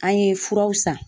An ye furaw san.